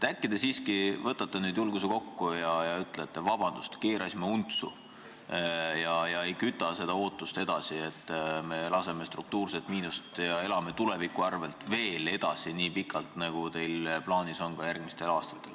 Äkki te siiski võtate julguse kokku ja ütlete, et vabandust, keerasime untsu, ega küta ootust edasi üles, et tekitame struktuurset miinust ja elame tuleviku arvel edasi nii pikalt, nagu teil on plaanis ka järgmistel aastatel.